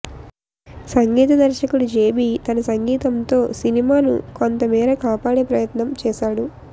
సంగీత దర్శకుడు జేబీ తన సంగీతంతో సినిమాను కొంతమేర కాపాడే ప్రయత్నం చేశాడు